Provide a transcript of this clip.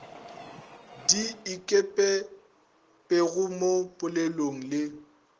di ikepetpego mo polelong le